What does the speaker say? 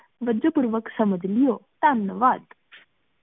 ਵੱਜੋ ਪੁਰ ਵਾਕ਼ਾਤ ਸਮਜ ਲਿਯੋ ਤੰਨ ਵੱਡ